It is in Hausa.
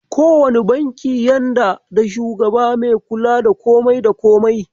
Ko wane banki yanda da shugaba me kula da komai da komai.